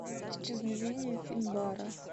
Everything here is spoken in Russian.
исчезновение финбара